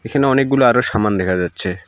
এখানে অনেকগুলো আরো সামান দেখা যাচ্ছে।